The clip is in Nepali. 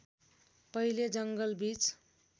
पहिले जङ्गल बीच